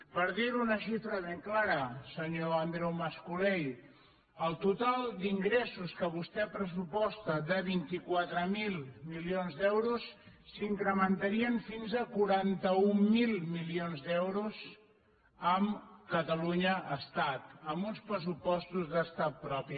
per dir ho amb una xifra ben clara senyor andreu mas colell el total d’ingressos que vostè pressuposta de vint quatre mil milions d’euros s’incrementaria fins a quaranta mil milions d’euros amb catalunya estat amb uns pressupostos d’estat propi